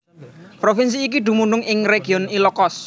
Provinsi iki dumunung ing Region Ilocos